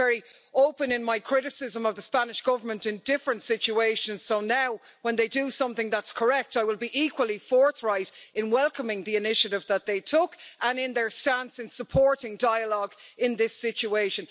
I've been very open in my criticism of the Spanish Government in different situations, so now, when they do something that's correct, I will be equally forthright in welcoming the initiative that they took, and in their stance in supporting dialogue in this situation.